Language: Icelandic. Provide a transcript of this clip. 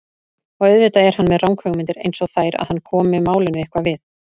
Og auðvitað er hann með ranghugmyndir einsog þær að hann komi málinu eitthvað við.